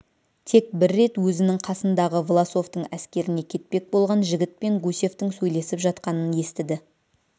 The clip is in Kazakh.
тек бір рет өзінің қасындағы власовтың әскеріне кетпек болған жігітпен гусевтың сөйлесіп жатқанын естіді